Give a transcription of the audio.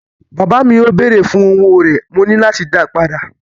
Bàbá mi yóò béèrè fún owó rẹ̀, mo ní láti dáa padà.